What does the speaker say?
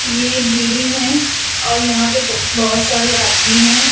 ये एक बिल्डिंग है और यहां पे बहुत सारे आदमी हैं।